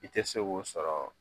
I tɛ se Ko sɔrɔ